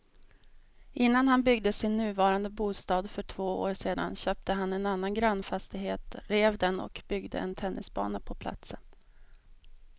Innan han byggde sin nuvarande bostad för två år sedan köpte han en annan grannfastighet, rev den och byggde en tennisbana på platsen.